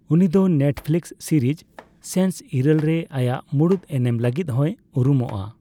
ᱩᱱᱤ ᱫᱚ Netflix series ᱥᱮᱱᱥ ᱤᱨᱟᱹᱞ ᱨᱮ ᱟᱭᱟᱜ ᱢᱩᱲᱩᱫ ᱮᱱᱮᱢ ᱞᱟᱹᱜᱤᱫ ᱦᱚᱸᱭ ᱩᱨᱩᱢᱚᱜᱼᱟ ᱾